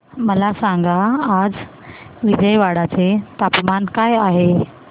मला सांगा आज विजयवाडा चे तापमान काय आहे